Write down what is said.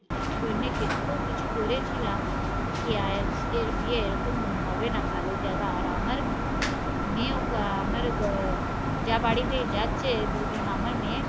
জন্যে কিছু করেছিলাম কে এর বিয়ে এরকম হবে না, ভালো জাগা আর আমার মেয়ে, আমার আহ যা বাড়িতে যাচ্ছে, দুজন আমার মেয়ে